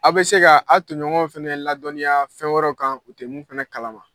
A bɛ se ka a tɔɲɔgɔnw fana ladɔnniya fɛn wɛrɛ kan u te mun fana kalama.